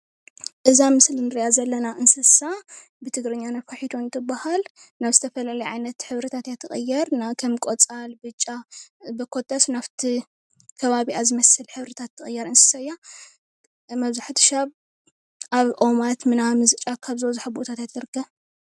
እዛ ኣብ ምስሊ እንርእይያ ዘለና እንስሳ ብትግርኛ ነፋሒቶ እንትብሃል ናብ ዝተፈላለይየ ዓይነት ሕብሪታት አያ ትቅየር ከም ቆጻል ብጫ በኮታስ ናብቲ ከባቢኣ ዝመስል ሕብርታት ትቀየር እንስሳ እያ። መብዛሕትኡ ሻብ ኣብ ኦማት ጫካታት ኣብ ዝበዝሖ ቦታት እያ ትርከብ።